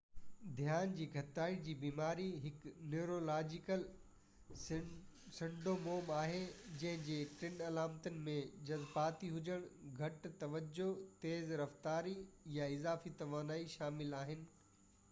ڌيان جي گهٽتائي جي بيماري هڪ نيورولاجيڪل سنڊوموم آهي جنهنجي ٽي علامتن ۾ جزباتي هجڻ گهٽ توجه تيز رفتاري يا اضافي توانائي شامل آهن